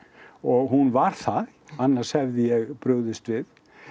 og hún var það annars hefði ég brugðist við